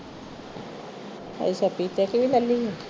ਉਹ ਸਚੋ ਸੱਚੀ ਲੱਲੀ